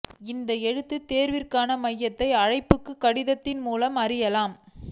இந்த எழுத்துத் தேர்விற்கான மையத்தை அழைப்புக் கடிதத்தின் மூலமாக அறியலாம்